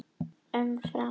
Um Fram: